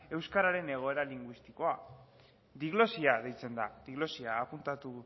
euskararen egoera linguistikoa diglosia deitzen da diglosia apuntatu